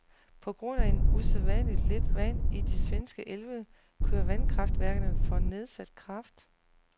På grund at usædvanligt lidt vand i de svenske elve kører vandkraftværkerne for nedsat kraft.